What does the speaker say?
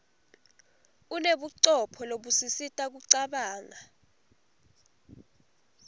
unebucopho lobusisita kucabanga